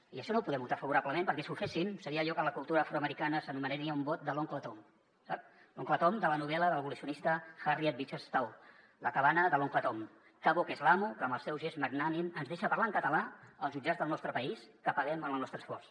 i això no ho podem votar favorablement perquè si ho féssim seria allò que en la cultura afroamericana s’anomenaria un vot de l’oncle tom sap l’oncle tom de la novel·la de l’abolicionista harriet beecher stowe la cabana de l’oncle tom que bo que és l’amo que amb el seu gest magnànim ens deixa parlar en català als jutjats del nostre país que paguem amb el nostre esforç